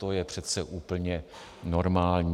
To je přece úplně normální.